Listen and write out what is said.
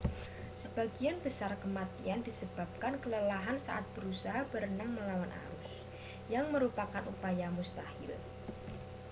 sebagian besar kematian disebabkan kelelahan saat berusaha berenang melawan arus yang merupakan upaya mustahil